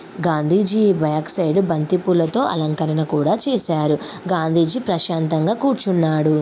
Gandhiji back side బంతి పూలతో అలంకరణ కూడా చేసారు గాంధీజీ ప్రశాంతంగా కూర్చున్నాడు.